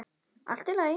Allt í lagi!